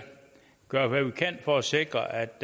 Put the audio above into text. gøre hvad vi kan for at sikre at